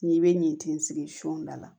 N'i bɛ nin tin sigi son da la